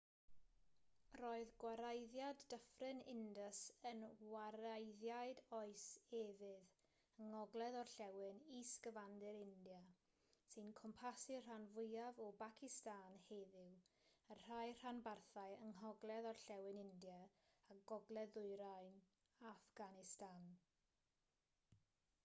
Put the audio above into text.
roedd gwareiddiad dyffryn indus yn wareiddiad oes efydd yng ngogledd-orllewin is-gyfandir india sy'n cwmpasu'r rhan fwyaf o bacistan heddiw a rhai rhanbarthau yng ngogledd-orllewin india a gogledd-ddwyrain affganistan